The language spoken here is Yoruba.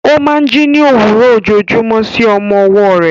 Ó máa ń jí ní òwúrọ̀ ojoojúmọ́ sí ohùn ọmọ ọwọ́ rẹ̀.